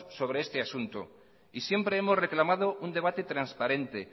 sobre este asunto y siempre hemos reclamado un debate transparente